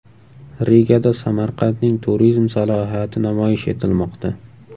Rigada Samarqandning turizm salohiyati namoyish etilmoqda.